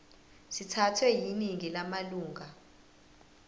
sithathwe yiningi lamalunga